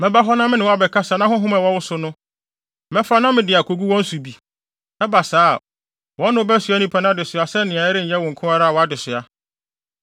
Mɛba hɔ na me ne wo abɛkasa na honhom a ɛwɔ wo so no, mɛfa na mede akogu wɔn nso so bi; ɛba saa a, wɔne wo bɛsoa nnipa no adesoa sɛnea ɛrenyɛ wo nko ara wʼadesoa.